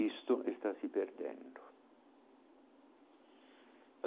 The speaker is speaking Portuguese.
Isto está se perdendo.